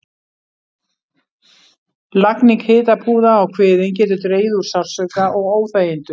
Lagning hitapúða á kviðinn getur dregið úr sársauka og óþægindum.